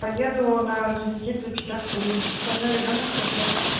поеду на орджоникидзе пятьдесят три со мной ребёнок пять лет